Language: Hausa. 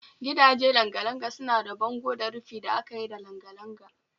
Gidaje langa-langa suna da bango da rufi da aka yi da langa-langa